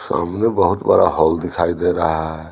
सब बहुत बड़ा होल दिखाई दे रहा है।